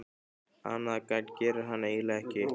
Annað gagn gerir hann eiginlega ekki.